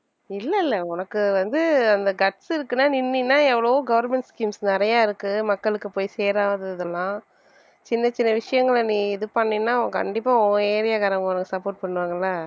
இல்ல இல்ல உனக்கு வந்து அந்த guts இருக்குன்னா நின்னேனா எவ்வளவோ government schemes நிறைய இருக்கு மக்களுக்கு போய் சேராதது எல்லாம் சின்ன சின்ன விஷயங்களை நீ இது பண்ணேன்னா கண்டிப்பா உன் area காரங்க உனக்கு support பண்ணுவாங்கல்ல